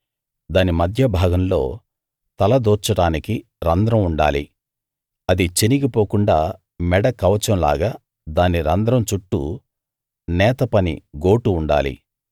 దాని మధ్య భాగంలో తల దూర్చడానికి రంధ్రం ఉండాలి అది చినిగి పోకుండా మెడ కవచం లాగా దాని రంధ్రం చుట్టూ నేతపని గోటు ఉండాలి